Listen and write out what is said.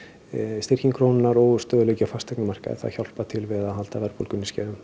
styrking krónunnar og stöðugleiki á fasteignamarkaði það hjálpar til við að halda verðbólgunni í skefjum